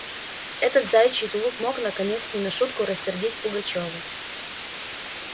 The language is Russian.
этот заячий тулуп мог наконец не на шутку рассердить пугачёва